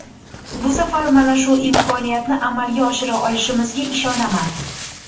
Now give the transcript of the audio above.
Bu safar mana shu imkoniyatni amalga oshira olishimizga ishonaman.